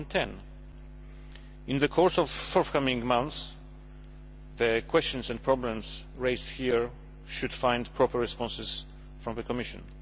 2010. In the course of the coming months, the questions and problems raised here should find proper responses from the Commission.